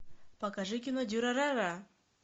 покажи кино дюрарара